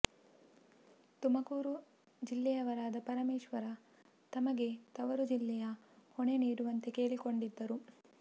ತುಮಕೂರು ಜಿಲ್ಲೆಯವರಾದ ಪರಮೇಶ್ವರ ತಮಗೆ ತವರು ಜಿಲ್ಲೆಯ ಹೊಣೆ ನೀಡುವಂತೆ ಕೇಳಿಕೊಂಡಿದ್ದರು